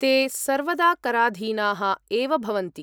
ते सर्वदा कराधीनाः एव भवन्ति।